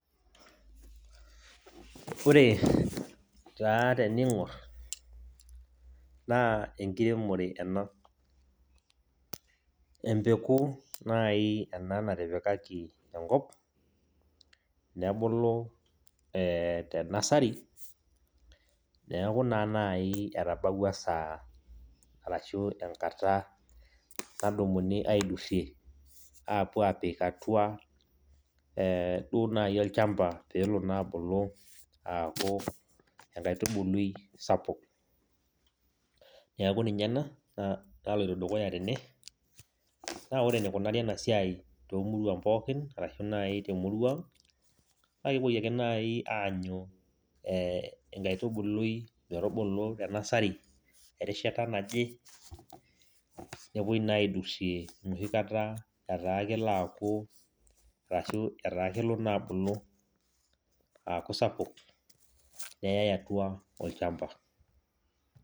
Ore taa teniing'or, naa enkiremore ena. Empeku naai ena natipikaki enkop, nebulu tenasari, neeku naa nai etabawua esaa arashu enkata nadumuni aidurrie, apuo aapik atua, eh duo naji olshamba pee elo duo abulu aaku enkatubului sapuk. Neeku ninye ena naloito dukuya tene. Naa ore enikunari ena siai toomuruan pookin arashu naaji temurua ang', naa kepuoi ake naai aanyu eeh enkaitubului metubulu tenasari erishata naje, nepuoi naa aidurrie enoshikata etaa kelo aaku arashu etaa kelo naa abulu aaku sapuk, neyai atua olshamba.